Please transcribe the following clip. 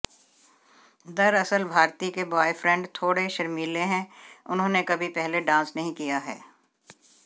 दरअसल भारती के ब्वॉयफ्रेंड थोड़े शर्मीले हैं उन्होंने कभी पहले डांस नहीं किया है